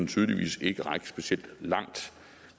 tydeligvis ikke række specielt langt